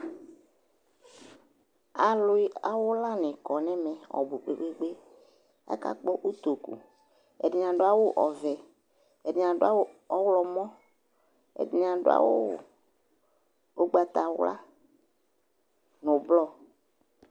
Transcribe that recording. Awlɩ awʋlanɩ kɔ n'ɛmɛ kpekpekpe , akagbɔ otoku Ɛdɩnɩ adʋ awʋ ɔvɛ , ɛdɩnɩ adʋ awʋ ɔɣlɔmɔ , ɛdɩnɩ adʋ awʋ ʋgbatawla nʋ blɔ